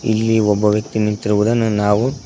ಇಲ್ಲಿ ಒಬ್ಬ ವ್ಯಕ್ತಿ ನಿಂತಿರುವುದನ್ನು ನಾವು--